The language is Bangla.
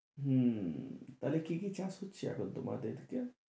হম তা হলে কি কি চাষ হচ্ছে এখন তোমাদের দিকে?